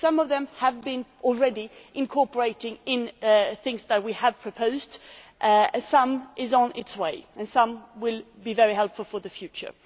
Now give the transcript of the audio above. Some of them have been already incorporated in things that we have proposed some are on their way, and some will be very helpful for the future.